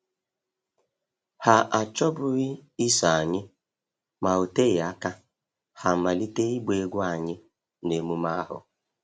Ha achọbughị iso anyị, ma ọ oteghi aka ha a malite ịgba egwú anyị n’emume ahụ.